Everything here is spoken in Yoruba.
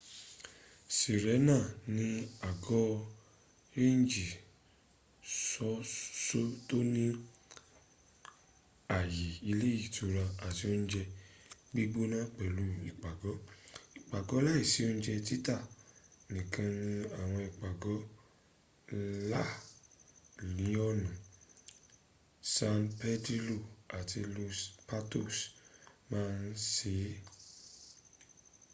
sirena ni àgọ rénjì ṣoṣo tó ní àye ilé ìtura àti ounje gbígbóná pẹ̀lú ipago ipago láìsí ounje títà nìkan ni àwọn ìpàgọ́ la liona san pedrilo ati los patos ma n ṣe